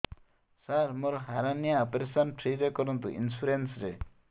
ସାର ମୋର hernia operation free ରେ କରନ୍ତୁ ଇନ୍ସୁରେନ୍ସ ରେ